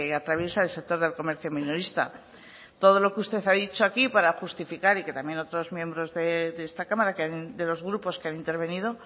atraviesa el sector del comercio minorista todo lo que usted ha dicho aquí para justificar y que también otros miembros de esta cámara de los grupos que han intervenido